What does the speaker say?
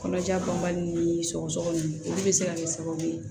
Kɔnɔja banbali ni sɔgɔsɔgɔ nunnu olu be se ka kɛ sababu ye